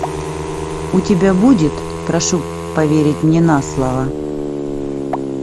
у тебя будет прошу поверить мне наслово